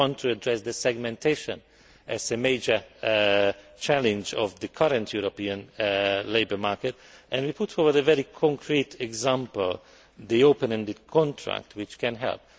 We want to address segmentation as a major challenge of the current European labour market, and we put forward a very concrete example the open ended contract, which can help.